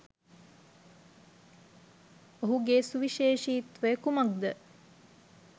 ඔහුගේ සුවිශේෂීත්වය කුමක්ද?